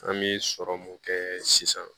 An bɛ sɔrɔ mun kɛ sisan